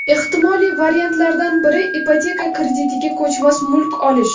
Ehtimoliy variantlardan biri ipoteka kreditiga ko‘chmas mulk olish.